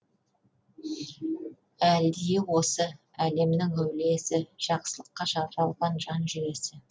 әлдиі осы әлемнің әулиесі жақсылыққа жаралған жан жүйесі